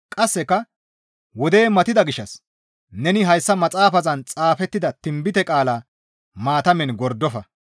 Qasseka, «Wodey matida gishshas neni hayssa maxaafazan xaafettida tinbite qaalaa maatamen gordofa.